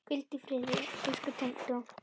Hvíldu í friði, elsku tengdó.